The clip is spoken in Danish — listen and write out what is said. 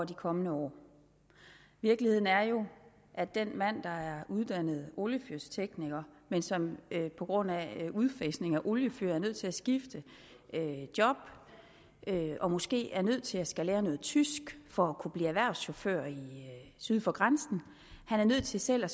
de kommende år virkeligheden er jo at den mand der uddannet oliefyrstekniker men som på grund af udfasning af oliefyr er nødt til at skifte job og måske er nødt til at skulle lære noget tysk for at kunne blive erhvervschauffør syd for grænsen er nødt til selv at